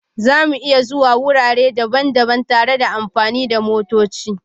Za mu iya zuwa wurare daban-daban tare da amfani da motoci